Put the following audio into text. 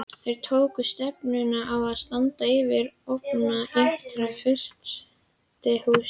Þeir tóku stefnuna á sandinn fyrir ofan ytra-frystihúsið.